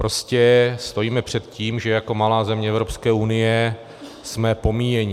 Prostě stojíme před tím, že jako malá země Evropské unie jsme pomíjení.